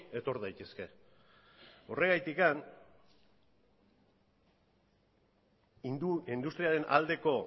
etor daitezke horregatik industriaren aldeko